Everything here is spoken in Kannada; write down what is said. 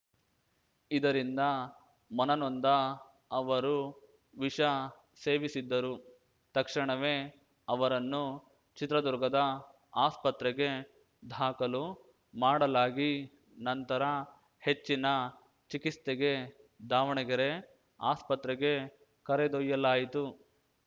ಇದರಿಂದ ಮನನೊಂದ ಅವರು ವಿಷ ಸೇವಿಸಿದ್ದರು ತಕ್ಷಣವೇ ಅವರನ್ನು ಚಿತ್ರದುರ್ಗದ ಆಸ್ಪತ್ರೆಗೆ ಧಾಖಲು ಮಾಡಲಾಗಿ ನಂತರ ಹೆಚ್ಚಿನ ಚಿಕಿತ್ಸೆಗೆ ದಾವಣಗೆರೆ ಆಸ್ಪತ್ರೆಗೆ ಕರೆದೊಯ್ಯಲಾಯಿತು